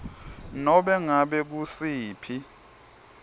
nobe ngabe ngusiphi